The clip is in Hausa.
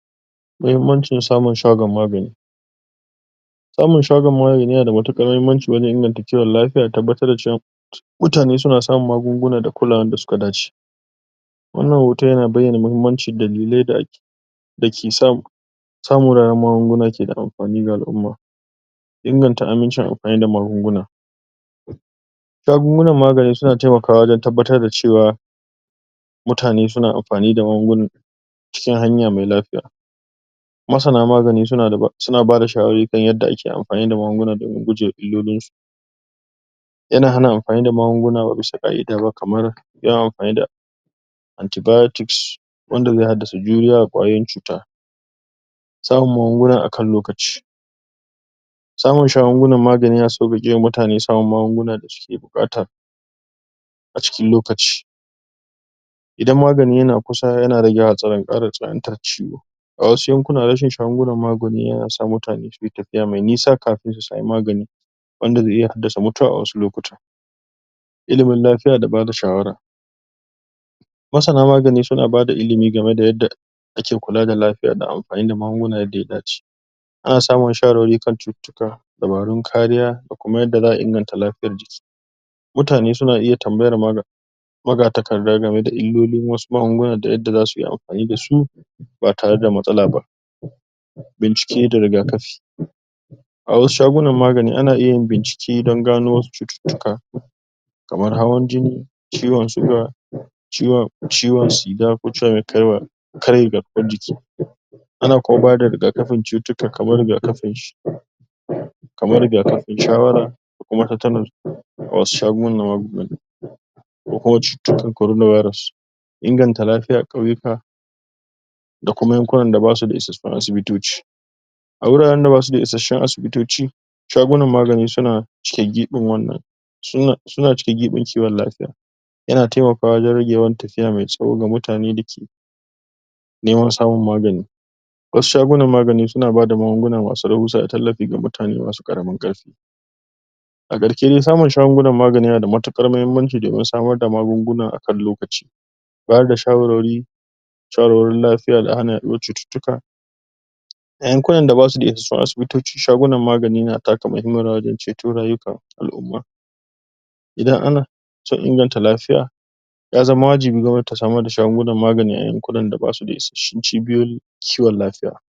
muhimmancin samun shagon magani, samun shagon magani, yana da matukar mahimmaci, wajen inganta kiwon lafia, da tabbatar da cewa mutane suna samun magungunan da kulawan da suka dace wannan hoton yana baiyana mahimamcin dalilin da da ke sa samun magunguna keda amfani ga al' umma inganta amincin amfani da magunguna shagunan magani suna taimakawa wajen tabbatar da cewa mutane suna amfani, da magungunan cikin hanya mai lafiya masana magani suna bada shawari kan yadda ake anfani da magunguna domin gujema illolin su yana hana amfani da magunguna, ba bisa kaidaba kaman yawan anfani da anti-biotics wanda zai haddasa juriya ga kwayoyin cuta samun magunguna akan lokaci samun shagunan magani yana sauwayewa mutane samun magungunan da suke bukata a cikin lokaci idan magani yana kusa yana rage kara yawan tsanantan ciwo a wasu yankunan, rashin shagunan magani, yana sa mutane suyi tafiya mai nisa kafin su sami magani wanda zai iya haddasa mutuwa a wani lokutan ilimin lafia, da bada shawara masana magani, suna bada ilimi game da yadda ake kula da lafia da amfani da maguna yadda ya dace ana samun wasu shawar-wari kan shutittika, dabarun kariya, da kuma yadda zaa inganta lafiyan jiki mutane suna iya tambayan malan maga-takarda, game da illolin wasu magungunan, da yadda zasuyi anfani dasu ba tare da matsalaba ba bincike da rIga-kafi a wasu shagunan magani ana iya bincike dan gano wasu cutittika kaman hawan jini ciwon siga ciwon ciga ko karya garkuwan jiki ana kuma bada rigakafin tsutittika kaman riga-kafinshi kaman riga-kafin shawara da kuma tetanus a wasu shagunan magani ko kuma cutan korona virus inganta lafiyan kauyuka da kuma yankunan da basu da isassun asibitoci a huraren da ba suda isassun asibitoci shagunan magani suna cike gibin wannan suna cike gibin kiwon lafia ya na taimakawa wajen rage yawan tafiya mai tsawo ga mutane da ke neman samun magani wasu shagunan magani suna bada magunguna masu rahuwa ga tallafi ga mutane masu karamin karfi a karshe dai samun shagunan magani yana da matukar mahimmanci domin samar da magunguna akan lokaci bayar da shawarwari shawarwarin lafia, da hana yaduwar shutittika a yankunan da ba suda isassun asibitoci, shagunan magani na taka muhimmiyar rawa dan ceto rayukan al'umma idan ana so a inganta lafia yazama wajibi gwamnati ta samar da shagunan magani a yankunan da ba suda isassun cibiyoyin kiwon lafiya.